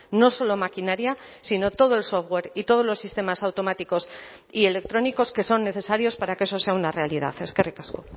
no solo maquinaria sino todo el software y todos los sistemas automáticos y electrónicos que son necesarios para que eso sea una realidad eskerrik asko